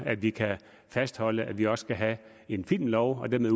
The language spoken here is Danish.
at vi kan fastholde at vi også skal have en filmlov og dermed